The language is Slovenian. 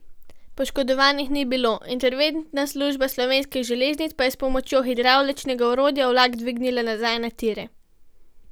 Poškodovanih ni bilo, interventna služba Slovenskih železnic pa je s pomočjo hidravličnega orodja vlak dvignila nazaj na tire.